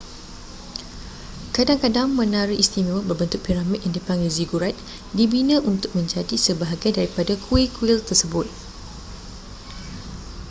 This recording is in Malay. kadang-kadang menara istimewa berbentuk piramid yang dipanggil zigurat dibina untuk menjadi sebahagian daripada kuil-kuil tersebut